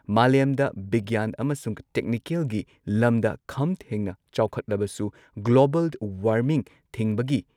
ꯃꯥꯂꯦꯝꯗ ꯕꯤꯒ꯭ꯌꯥꯟ ꯑꯃꯁꯨꯡ ꯇꯦꯛꯅꯤꯀꯦꯜꯒꯤ ꯂꯝꯗ ꯈꯝꯊꯦꯡꯅ ꯆꯥꯎꯈꯠꯂꯕꯁꯨ ꯒ꯭ꯂꯣꯕꯜ ꯋꯥꯔꯃꯤꯡ ꯊꯤꯡꯕꯒꯤ